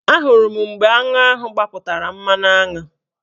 Ahụrụ m mgbe aṅụ ahụ gbapụtara mmanụaṅụ